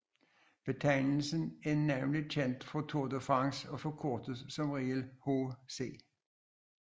Betegnelsen er navnlig kendt fra Tour de France og forkortes som regel HC